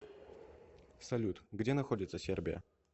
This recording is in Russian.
салют где находится сербия